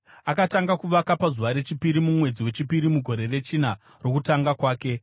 Akatanga kuvaka pazuva rechipiri mumwedzi wechipiri mugore rechina rokutonga kwake.